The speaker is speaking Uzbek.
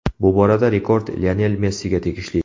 Bu borada rekord Lionel Messiga tegishli.